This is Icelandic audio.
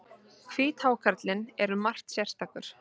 Hvíthákarlinn er um margt sérstakur.